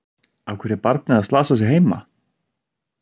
Af hverju er barnið að slasa sig heima?